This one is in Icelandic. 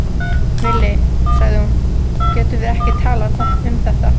Villi, sagði hún, getum við ekki talað um þetta?